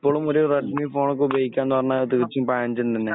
ഇപ്പളും ഒരു Redmi phone ഒക്കെ ഉപകുയോഗിക്കാന്ന് പറഞ്ഞാ അത് തീർത്തും പഴഞ്ചൻ തന്നെ.